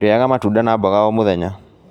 Rĩaga matunda na mboga o mũthenya